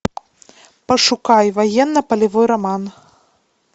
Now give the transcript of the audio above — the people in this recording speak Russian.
пошукай военно полевой роман